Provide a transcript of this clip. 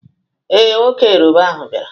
Ee, nwoke Yoroba ahụ bịara.